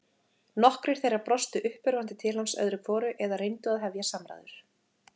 Nokkrir þeirra brostu uppörvandi til hans öðru hvoru eða reyndu að hefja samræður.